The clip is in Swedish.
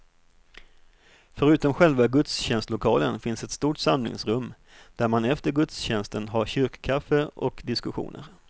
Förutom själva gudstjänstlokalen finns ett stort samlingsrum, där man efter gudstjänsten har kyrkkaffe och diskussioner.